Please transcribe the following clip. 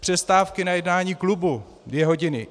Přestávky na jednání klubu dvě hodiny.